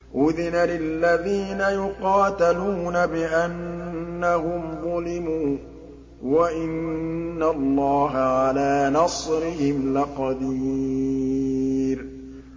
أُذِنَ لِلَّذِينَ يُقَاتَلُونَ بِأَنَّهُمْ ظُلِمُوا ۚ وَإِنَّ اللَّهَ عَلَىٰ نَصْرِهِمْ لَقَدِيرٌ